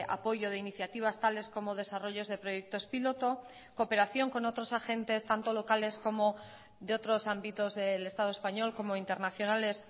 apoyo de iniciativas tales como desarrollos de proyectos piloto cooperación con otros agentes tanto locales como de otros ámbitos del estado español como internacionales